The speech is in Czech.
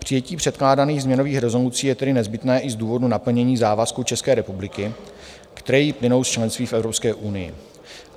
Přijetí předkládaných změnových rezolucí je tedy nezbytné i z důvodu naplnění závazků České republiky, které jí plynou z členství v Evropské unii.